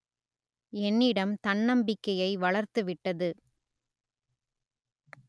என்னிடம் தன்னம்பிக்கையை வளர்த்துவிட்டது